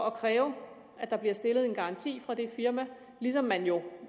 at kræve at der bliver stillet en garanti fra det firma ligesom man jo